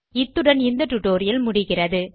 இத்துடன் இந்த டியூட்டோரியல் முடிகிறது